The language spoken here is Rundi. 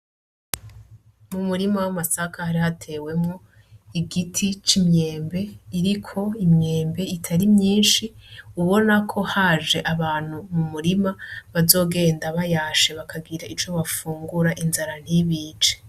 Umurima wamasaka hari hatewemwo igiti cimyembe iriko imyembe itari myinshi ubonako haje abantu mumurima bazogenda bayashe bakagira ico bafungura inzara ntibice .